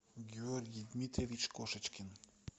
георгий дмитриевич кошечкин